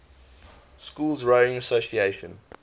schools rowing association